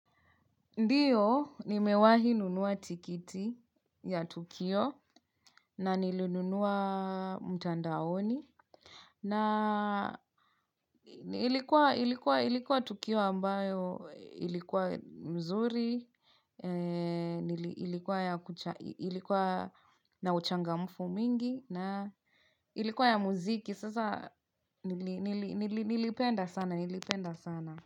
Ndiyo, nimewahi nunua tikiti ya tukio na nilinunua mtandaoni. Na ilikuwa tukio ambayo ilikuwa mzuri, ilikuwa na uchangamfu mingi na ilikuwa ya muziki. Sasa nilipenda sana.